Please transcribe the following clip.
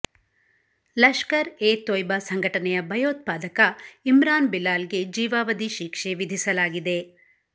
ಲಷ್ಕರ್ ಎ ತೋಯ್ಬಾ ಸಂಘಟನೆಯ ಭಯೋತ್ಪಾದಕ ಇಮ್ರಾನ್ ಬಿಲಾಲ್ ಗೆ ಜೀವಾವಧಿ ಶಿಕ್ಷೆ ವಿಧಿಸಲಾಗಿದೆ